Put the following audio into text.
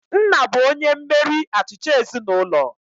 Nna bụ onye mmeri achịcha ezinaụlọ